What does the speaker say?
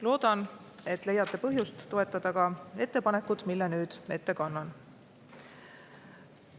Loodan, et leiate põhjust toetada ka ettepanekut, mille nüüd ette kannan.